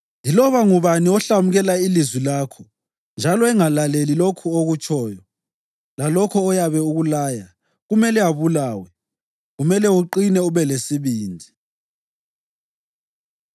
Yiloba ngubani ohlamukela ilizwi lakho njalo engalaleli lokho okutshoyo, lalokho oyabe ukulaya, kumele abulawe. Kumele uqine ube lesibindi!”